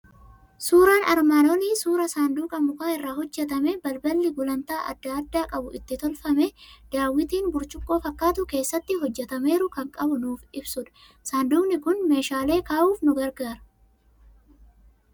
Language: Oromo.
Suuraan armaan olii suuraa sanduuqa muka irraa hojjetamee, balballi gulantaa adda addaa qabu itti tolfamee, daawwitiin burcuqqoo fakkaatu keessatti hojjetameeru qabu kan nuuf ibsudha. Saanduqni kun meeshaalee kaa'uuf nu gargaara.